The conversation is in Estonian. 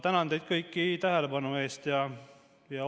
Tänan teid kõiki tähelepanu eest!